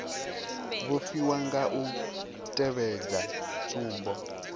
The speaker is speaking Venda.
vhofhiwa nga u tevhedza tsumbo